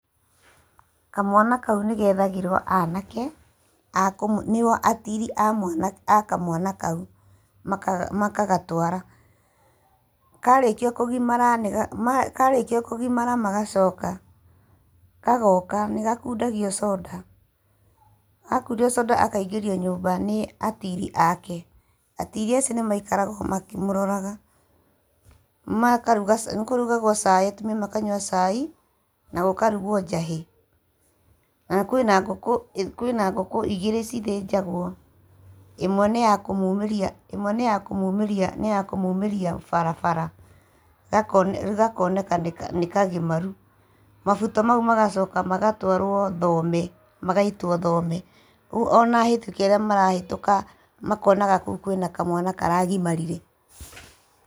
Kamwana kau nĩ gethagĩrwo anake, a nĩguo atiri a mwana a kamwana kau, makagatwara. Karĩkio kũgimara nĩ karĩkia kũgimara magacoka. Gagoka, níĩgakundagio soda. Gakundio soda akaingĩrio nyũmba nĩ atiri aake. Atiri acio nĩ maikaraga makĩmũroraga. Makaruga nĩ kũrugagwo cai, atumia makanyua cai, na gũkarugwo njahĩ. Na kwĩna ngũkũ kwĩna ngũkũ igĩrĩ cithĩnjagwo. ĩmwe nĩ ya kũmumĩria ĩmwe nĩ ya kũmumĩria barabara, gakoneka nĩ nĩ kagimaru. Mabuto mau magacoka magatwarwo thome magaitwo thome. Ona ahĩtũki arĩa marahetũka makonaga kũu kwĩna kamwana karagimarĩre.